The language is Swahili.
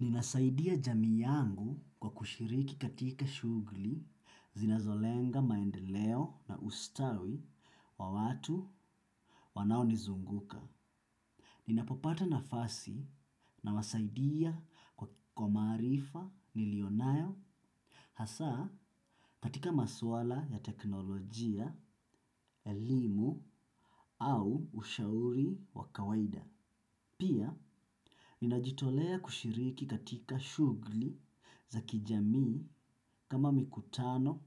Ninasaidia jamii yangu kwa kushiriki katika shugli zinazolenga maendeleo na ustawi wa watu wanao nizunguka. Ninapopata nafasi nawasaidia kwa maarifa nilionayo hasaa katika maswala ya teknolojia, elimu au ushauri wa kawaida. Pia, ninajitolea kushiriki katika shugli za kijamii kama mikutano,